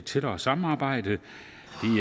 tættere samarbejde det